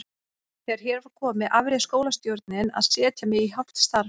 Þegar hér var komið afréð skólastjórnin að setja mig í hálft starf.